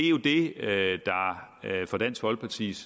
der efter dansk folkepartis